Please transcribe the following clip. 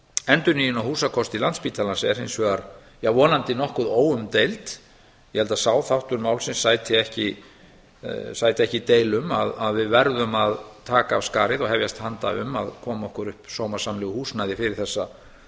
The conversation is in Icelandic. endurnýjun á húsakosti á landspítalans er hins vegar vonandi nokkuð óumdeild ég held að sá þáttur málsins sæti ekki deilum að við verðum að taka af skarið og hefjast handa um að koma okkur upp sómasamlegu húsnæði fyrir þessa